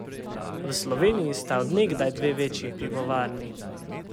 V Sloveniji sta od nekdaj dve večji pivovarni.